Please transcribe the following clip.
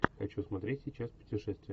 хочу смотреть сейчас путешествие